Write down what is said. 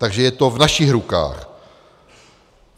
Takže je to v našich rukách.